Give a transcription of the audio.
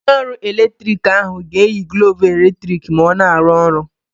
Onye ọrụ eletrik ahụ ga-eyi glọvụ eletrik ma ọ na-arụ ọrụ.